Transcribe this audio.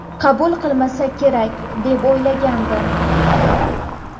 qabul qilmasa kerak deb o‘ylagandim.